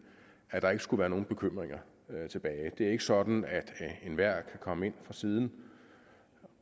at der ikke skulle være nogen bekymringer tilbage det er ikke sådan at enhver kan komme ind fra siden